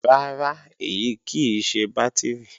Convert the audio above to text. Rárá, èyí kì í ṣe bátìrì